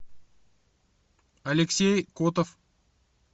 алексей котов